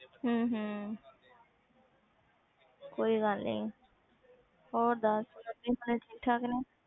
ਹਮ ਹਮ ਕੋਈ ਗੱਲ ਨੀ ਹੋਰ ਦੱਸ, ਹੋਰ ਆਂਟੀ ਹੋਣੀ ਠੀਕ ਠਾਕ ਨੇ।